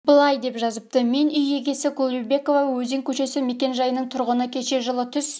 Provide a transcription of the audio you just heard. былай деп жазыпты мен үй егесі кулыбекова өзен көшесі мекен жайының тұрғыны кеше жылы түс